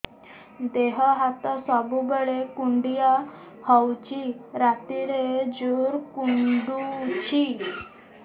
ଦେହ ହାତ ସବୁବେଳେ କୁଣ୍ଡିଆ ହଉଚି ରାତିରେ ଜୁର୍ କୁଣ୍ଡଉଚି